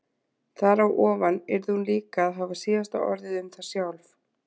Þar á ofan yrði hún líka að hafa síðasta orðið um það sjálf.